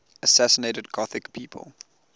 assassinated gothic people